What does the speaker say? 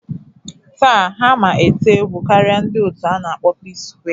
Taa, ha ma ete egwu karịa ndị otu a na-akpọ Pskware